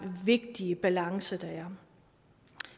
vigtige balance der er